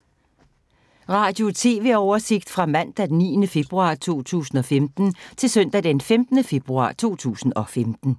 Radio/TV oversigt fra mandag d. 9. februar 2015 til søndag d. 15. februar 2015